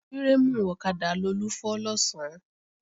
Fírémù ọ̀kadà Lolú fọ́ lọ̀sán